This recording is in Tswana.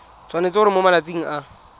tshwanetse gore mo malatsing a